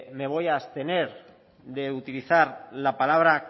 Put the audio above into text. me voy a abstener de utilizar la palabra